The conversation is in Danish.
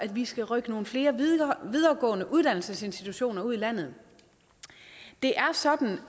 vi skal rykke nogle flere videregående uddannelsesinstitutioner ud i landet det er sådan